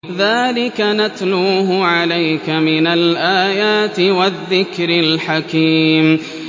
ذَٰلِكَ نَتْلُوهُ عَلَيْكَ مِنَ الْآيَاتِ وَالذِّكْرِ الْحَكِيمِ